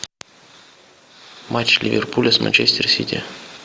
матч ливерпуля с манчестер сити